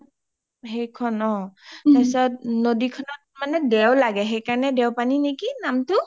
সেইখন অ তাৰ পাছত নদীখনত মানে দেওঁ লাগে সেইকাৰণে দেওঁপানি নেকি নামটো?